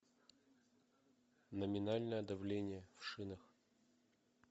номинальное давление в шинах